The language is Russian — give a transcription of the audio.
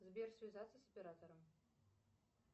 сбер связаться с оператором